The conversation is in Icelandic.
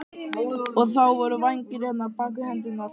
Og þá voru vængir hérna, bak við hendurnar.